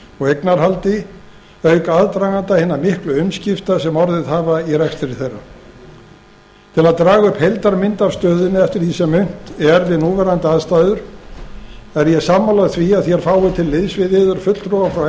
og eignarhaldi auk aðdraganda hinna miklu umskipta sem orðið hafa í rekstri þeirra til að draga upp heildarmynd af stöðunni eftir því sem unnt er við núverandi aðstæður er ég sammála því að þér fáið til liðs við yður fulltrúa frá